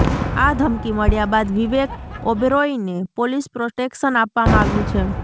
આ ધમકી મળ્યા બાદ વિવેક ઓબેરોયને પોલીસ પ્રોટેક્શન આપવામાં આવ્યું છે